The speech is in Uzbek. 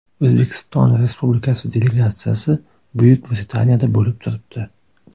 O‘zbekiston Respublikasi delegatsiyasi Buyuk Britaniyada bo‘lib turibdi.